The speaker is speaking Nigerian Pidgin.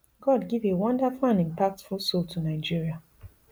god give a wonderful and impactful soul to nigeria